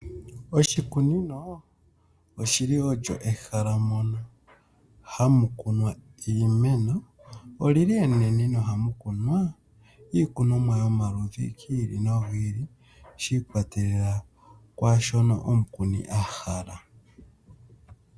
Oshikunino olyi li olyo ehala moka hamukunwa iimeno olyi li enene na ohamukunwa iikunomwa yomaludhi gi ili nogi ili shi ikwatelela kwashoka omukuni ahala.